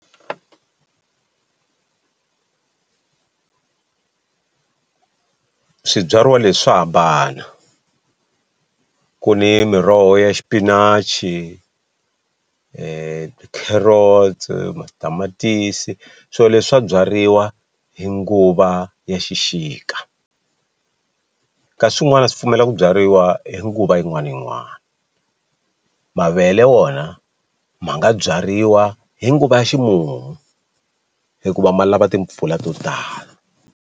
Swibyariwa leswi swa hambana ku ni miroho ya xipinachi tikherotsi, matamatisi swilo leswi swa byariwa hi nguva ya xixika kasi swin'wana swi pfumela ku byariwa hi nguva yin'wani ni yin'wani mavele wona ma nga byariwa hi nguva ya ximumu hikuva ma lava timpfula to tala.